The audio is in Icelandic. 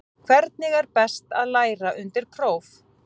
Hvernig er best að læra undir próf?